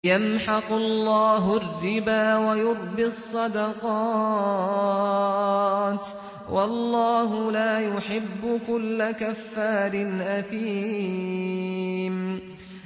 يَمْحَقُ اللَّهُ الرِّبَا وَيُرْبِي الصَّدَقَاتِ ۗ وَاللَّهُ لَا يُحِبُّ كُلَّ كَفَّارٍ أَثِيمٍ